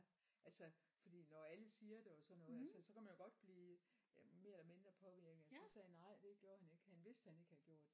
Altså fordi når alle siger det og sådan noget altså så kan man jo godt blive mere eller mindre påvirket men så sagde han nej det gjorde han ikke han vidste ha ikke havde gjort det